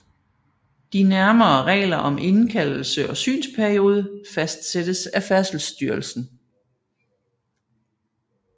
De nærmere regler om indkaldelse og synsperiode fastsættes af Færdselsstyrelsen